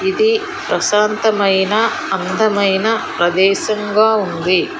ఇది ప్రశాంతమైన అందమైన అందమైన ప్రదేశం గా ఉంది.